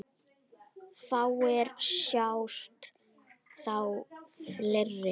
Fáir sjást á ferli.